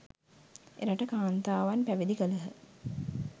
එරට කාන්තාවන් පැවිදි කළහ